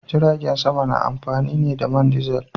Jiragen sama na amfani ne da man dizil.